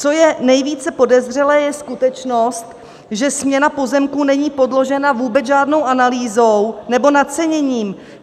Co je nejvíce podezřelé, je skutečnost, že směna pozemků není podložená vůbec žádnou analýzou nebo naceněním.